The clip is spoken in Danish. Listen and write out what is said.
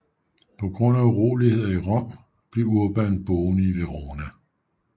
På grund af uroligheder i Rom blev Urban boende i Verona